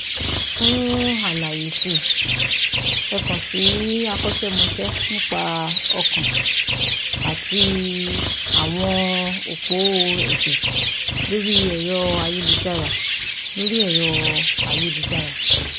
Fún àlàyé si ẹ kàn sí akọ́ṣémọṣẹ́ nípa ọkàn àti àwọnòpó ẹ̀jẹ̀ lórí ẹ̀rọ ayélujára lórí ẹ̀rọ ayélujára